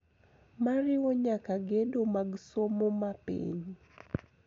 Moriwo nyaka gedo mag somo ma piny.